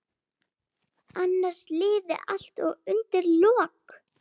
Annars liði allt undir lok.